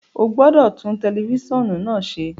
O gbọdọ tun tẹlifisiọnu naa ṣe!